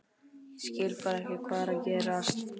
Ég skil bara ekki hvað er að gerast.